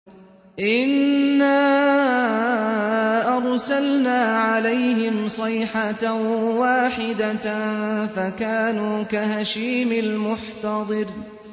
إِنَّا أَرْسَلْنَا عَلَيْهِمْ صَيْحَةً وَاحِدَةً فَكَانُوا كَهَشِيمِ الْمُحْتَظِرِ